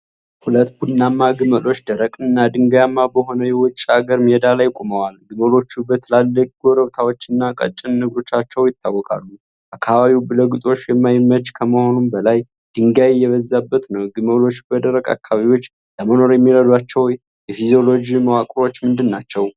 ሁለት ቡናማ ግመሎች ደረቅና ድንጋያማ በሆነ የውጭ አገር ሜዳ ላይ ቆመዋል። ግመሎቹ በትላልቅ ጉብታዎቻቸውና ቀጭን እግሮቻቸው ይታወቃሉ። አካባቢው ለግጦሽ የማይመች ከመሆኑም በላይ ድንጋይ የበዛበት ነው። ግመሎች በደረቅ አካባቢዎች ለመኖር የሚረዷቸው የፊዚዮሎጂ መዋቅሮች ምንድን ናቸው?